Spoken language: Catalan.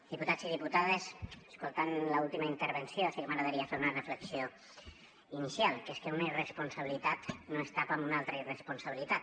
diputats i diputades escoltant l’última intervenció sí que m’agradaria fer una reflexió inicial que és que una irresponsabilitat no es tapa amb una altra irresponsabilitat